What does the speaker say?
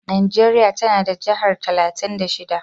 Najeriya tana da jihar talatin da shida.